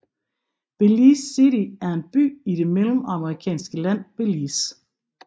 Belize City er en by i det mellemamerikanske land Belize